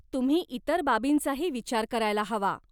तुम्ही इतर बाबींचाही विचार करायला हवा.